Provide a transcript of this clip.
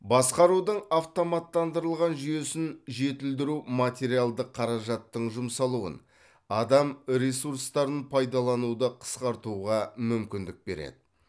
басқарудың автоматтандырылған жүйесін жетілдіру материалдық қаражаттың жұмсалуын адам ресурстарын пайдалануды қысқартуға мүмкіндік береді